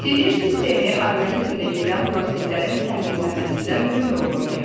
Sinir sistemi orqanizmdə gedən proseslərin tənzimləməsində mühim rol oynayır.